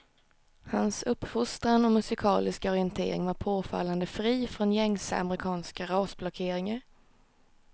Hans uppfostran och musikaliska orientering var påfallande fri från gängse amerikanska rasblockeringar.